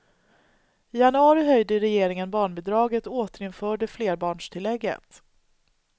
I januari höjde regeringen barnbidraget och återinförde flerbarnstillägget.